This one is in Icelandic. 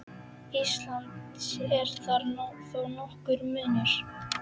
Íslands er þar þó nokkur munur.